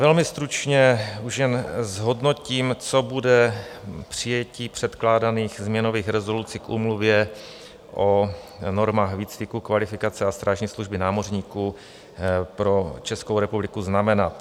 Velmi stručně už jen zhodnotím, co bude přijetí předkládaných změnových rezoluci k úmluvě o normách výcviku, kvalifikace a strážní služby námořníků pro Českou republiku znamenat.